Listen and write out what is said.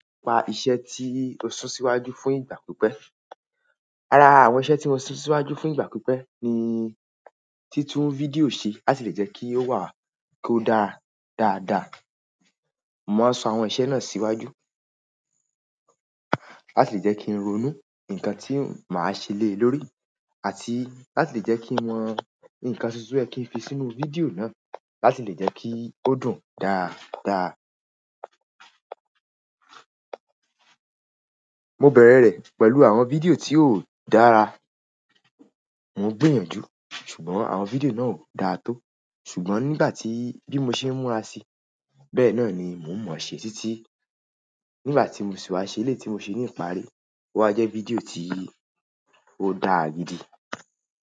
Pa iṣẹ́ tí ó sún síwájú fún ìgbà pípẹ́. Ará, àwọn iṣẹ́ tí mo sún síwájú fún ìgbà pípẹ́ ni títún fídíò ṣe láti lè jẹ́ kí ó wà kí ó dára dáadáa. Mo wa sun àwọn iṣẹ́ náà síwájú láti lè jẹ́ kí n ronú nǹkan tí màá ṣe lée lórí àti láti lè jẹ́ kí n mọ nǹkan tuntun to yẹ́ kí n fi sínú fídíò náà láti lè jẹ́ kí ó dùn dáadáa. Mo bẹ̀rẹ̀ rẹ̀ pẹ̀lú àwọn fídíò tí ó dára, mo ń gbìyànjú ṣùgbọ́n àwọn fídíò náà ò dáa tó. Ṣùgbọ́n nígbà tí bí mo ṣe n múra sí, bẹ́ẹ̀ náà ni mò ń mọ̀ ọ́n ṣe títí nígbà tí mo sì wá ṣe eléyii tí mo ṣe ní ìparí. Ó wa jẹ́ fídíò tí ó dáa gidi.